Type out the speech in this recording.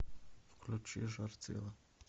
включи жар тела